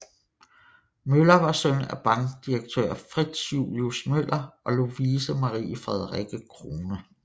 Møller var søn af bankdirektør Fritz Julius Møller og Lovise Marie Frederikke Krohne